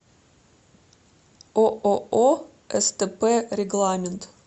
ооо стп регламент